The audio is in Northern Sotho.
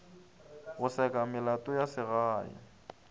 go seka melato ya segae